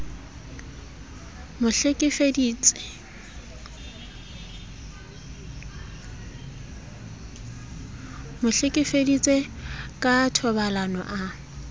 mo hlekefeditse ka thobalano a